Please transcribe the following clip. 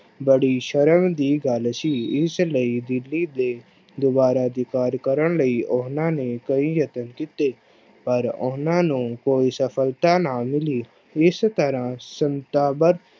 ਬੜੀ ਸ਼ਰਮ ਦੀ ਗੱਲ ਸੀ, ਇਸ ਲਈ ਦਿੱਲੀ ਤੇ ਦੁਬਾਰਾ ਅਧਿਕਾਰ ਕਰਨ ਲਈ ਉਹਨਾਂ ਨੇ ਕਈ ਯਤਨ ਕੀਤੇ, ਪਰ ਉਹਨਾਂ ਨੂੰ ਕੋਈ ਸਫ਼ਲਤਾ ਨਾ ਮਿਲੀ, ਇਸ ਤਰ੍ਹਾਂ ਸਤਾਬਦ